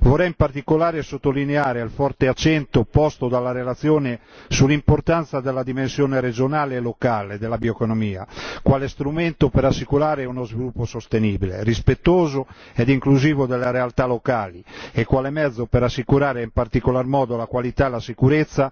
Vorrei in particolare sottolineare il forte accento posto dalla relazione sull'importanza della dimensione regionale e locale della bioeconomia, quale strumento per assicurare uno sviluppo sostenibile, rispettoso e inclusivo delle realtà locali e quale mezzo per assicurare in particolar modo la qualità e la sicurezza